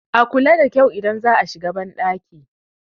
a kula da kyau idan za a shigo bandaki